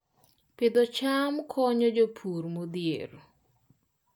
Pidho cham konyo jopur modhier